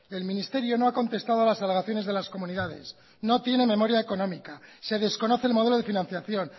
el ministerio no ha contestado a las alegaciones de las comunidades no tiene memoria económica se desconoce el modelo de financiación